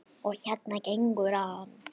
Og hérna gengur hann.